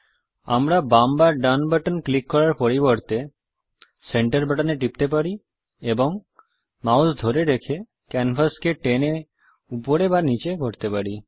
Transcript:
আমরা বাম বা ডান বাটন ক্লিক করার পরিবর্তে সেন্টার বাটন এ টিপতে পারি এবং মাউস ধরে রেখে ক্যানভাসকে টেনে উপরে বা নিচে করতে পারি